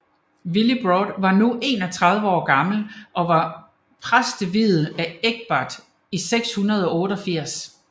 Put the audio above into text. Willibrord var nu 31 år gammel og var præsteviet af Egbert i 688